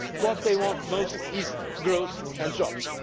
What they want most is growth and jobs.